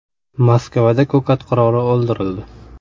Moskvada “ko‘kat qiroli” o‘ldirildi.